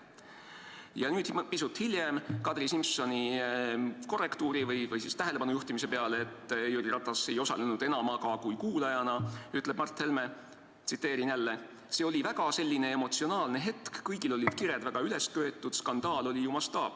" Ja pisut hiljem, Kadri Simsoni korrektuuri või siis tähelepanu juhtimise peale, et Jüri Ratas ei osalenud enamaga kui kuulajana, ütleb Mart Helme: "See oli selline väga emotsionaalne hetk, kõigil olid kired väga üles köetud, skandaal oli ju mastaapne.